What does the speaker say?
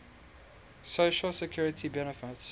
social security benefits